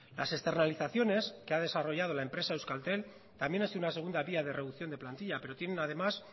las externalizaciones que ha desarrollado la empresa euskaltel también es una segunda vía de reducción de plantilla pero tienen además